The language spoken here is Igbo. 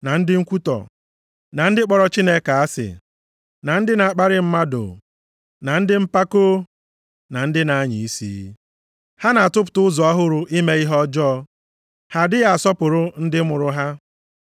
na ndị nkwutọ na ndị kpọrọ Chineke asị, na ndị na-akparị mmadụ na ndị mpako na ndị na-anya isi. Ha na-atụpụta ụzọ ọhụrụ ime ihe ọjọọ, ha adịghị asọpụrụ ndị mụrụ ha.